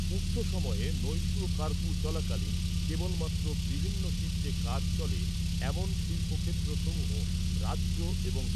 উক্ত সময়ে নৈশ কার্ফু চলাকালীন কেবলমাত্র বিভিন্ন শিফটে কাজ চলে এমন শিল্পক্ষেত্র সমূহ , রাজ্য এবং